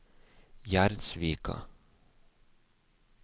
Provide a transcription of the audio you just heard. Gjerdsvika